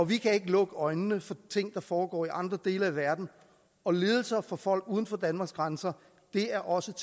vi kan ikke lukke øjnene for ting der foregår i andre dele af verden og lidelser for folk uden for danmarks grænser er også